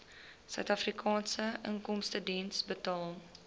suidafrikaanse inkomstediens betaal